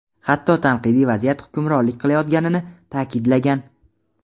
hatto tanqidiy vaziyat hukmronlik qilayotganini ta’kidlagan.